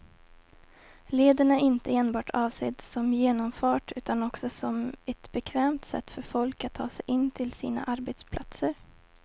Leden är inte enbart avsedd som genomfart utan också som ett bekvämt sätt för folk att ta sig in till sina arbetsplatser.